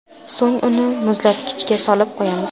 So‘ng uni muzlatkichga solib qo‘yamiz.